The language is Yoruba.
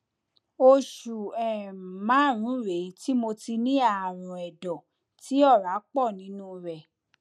oṣù um márùnún rèé tí mo ti ní ààrùn ẹdọ tí tí ọrá pọ nínú rẹ